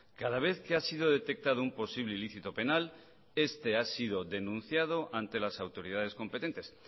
cada vez que ha sido detectado un posible ilícito penal este ha sido denunciado ante las autoridades competentes